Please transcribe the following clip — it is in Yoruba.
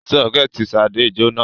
Sọ́kẹ́tì Ṣadé jóná.